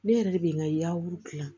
Ne yɛrɛ de bɛ n ka yafuru dilan